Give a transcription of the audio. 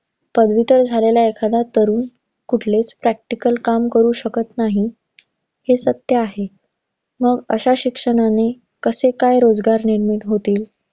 पदवीधर झालेला एखादा तरुण, कुठलेच practical काम करू शकत नाही. हे सत्त्य आहे. मग अशा शिक्षणाने, कसे काय रोजगार निर्मित होतील?